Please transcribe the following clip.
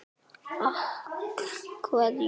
Hugrún: Mælið þið með þessu?